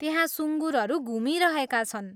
त्यहाँ सुँगुरहरू घुमिरहेका छन्।